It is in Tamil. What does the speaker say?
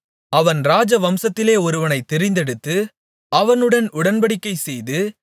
அவன் ராஜவம்சத்திலே ஒருவனைத் தெரிந்தெடுத்து அவனுடன் உடன்படிக்கைசெய்து